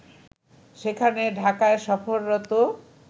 সেখানে ঢাকায় সফররত